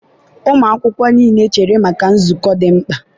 ụmụ akwụkwọ niile chere maka nzukọ dị mkpa!